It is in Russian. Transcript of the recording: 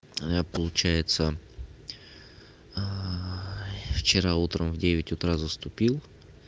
а получается вчера утром в девять утра заступил